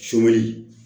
Sowli